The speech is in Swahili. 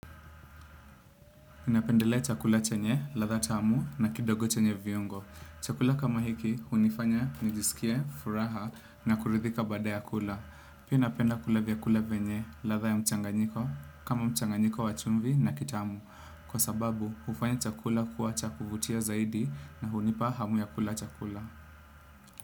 Ninapendelea chakula chenye, ladha tamu na kidogo chenye viungo. Chakula kama hiki, hunifanya, nijisikie, furaha na kuridhika baada ya kula. Pia napenda kula vyakula venye, ladha ya mchanganyiko, kama mchanganyiko wa chumvi na kitamu. Kwa sababu, hufanya chakula kuwa cha kuvutia zaidi na hunipa hamu ya kula chakula.